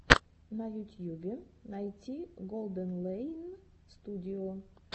на ютьюбе найти голденлэйн студио